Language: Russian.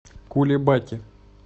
кулебаки